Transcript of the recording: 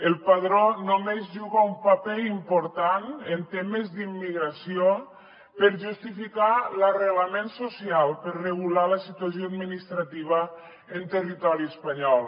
el padró només juga un paper important en temes d’immigració per justificar l’arrelament social per regular la situació administrativa en territori espanyol